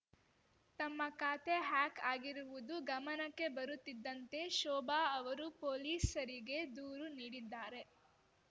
ತಮ್ಮ ಖಾತೆ ಹ್ಯಾಕ್‌ ಆಗಿರುವುದು ಗಮನಕ್ಕೆ ಬರುತ್ತಿದ್ದಂತೆ ಶೋಭಾ ಅವರು ಪೊಲೀಸರಿಗೆ ದೂರು ನೀಡಿದ್ದಾರೆ